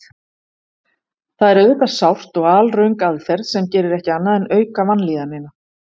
Það er auðvitað sárt og alröng aðferð sem gerir ekki annað en að auka vanlíðanina.